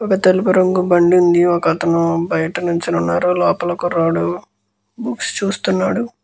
ఒకతనకి బండి ఉంది. ఒకతను బయట నించుని ఉన్నాడు. ఒకతను కుర్రోడు బుక్స్ చూస్తున్నాడు.